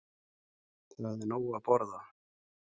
Það er nóg að borða.